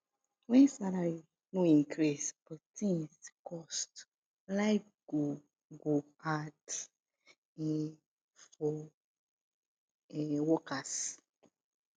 when salary no increase but things cost life go go hard um for um worker